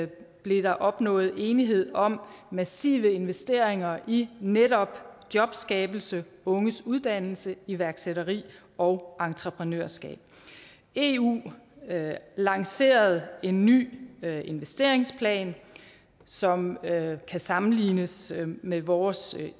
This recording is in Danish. blev der opnået enighed om massive investeringer i netop jobskabelse unges uddannelse og iværksætteri og entreprenørskab eu lancerede en ny investeringsplan som kan sammenlignes med vores